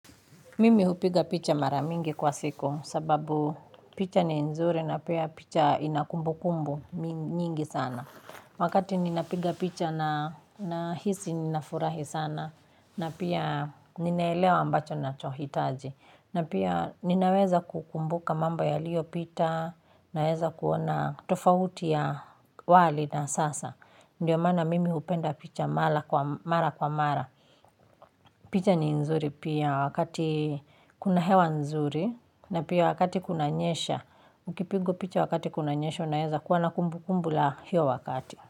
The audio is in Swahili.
Mimi hupiga picha mara mingi kwa siku sababu picha ni nzuri na pia picha ina kumbukumbu nyingi sana. Wakati ninapiga picha nahisi ninafurahi sana na pia ninaelewa ambacho nacho hitaji. Na pia ninaweza kukumbuka mambo yaliopita naweza kuona tofauti ya wali na sasa. Ndiyo mana mimi hupenda picha mara kwa mara. Picha ni nzuri pia wakati kuna hewa nzuri na pia wakati kunanyesha, ukipigwa picha wakati kunanyesha unaeza kuwa na kumbukumbu la hiyo wakati.